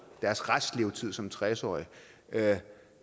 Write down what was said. deres restlevetid som tres årige